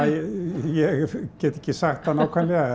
ég get ekki sagt það nákvæmlega